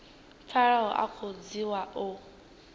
pfalaho a khou dzhiwa u